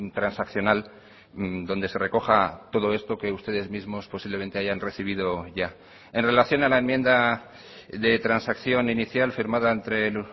transaccional donde se recoja todo esto que ustedes mismos posiblemente hayan recibido ya en relación a la enmienda de transacción inicial firmada entre el